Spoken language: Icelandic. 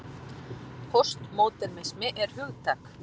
Póstmódernismi er hugtak.